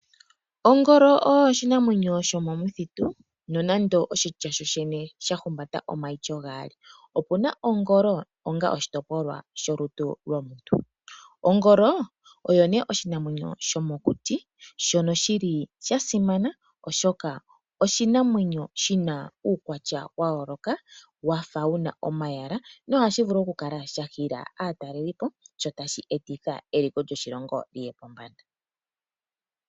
Ongolo oyo oshinamwenyo shomomuthitu nonande oshitya shoshene sha humbata omaityo gaali. Opu na ongolo onga oshitopolwa sholutu lwomuntu. Ongolo oyo oshinamwenyo shomokuti shono sha simana, oshoka oshinamwenyo shi na uukwatya wa yooloka wa fa wu na omayala nohashi vulu okukala sha hila aatalelipo, sho tashi etitha eliko lyoshilongo li ye pombanda.